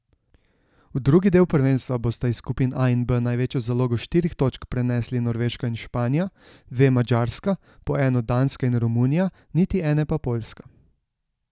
V drugi del prvenstva bosta iz skupin A in B največjo zalogo štirih točk prenesli Norveška in Španija, dve Madžarska, po eno Danska in Romunija, niti ene pa Poljska.